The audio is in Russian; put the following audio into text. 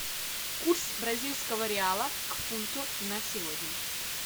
курс бразильского реала к фунту на сегодня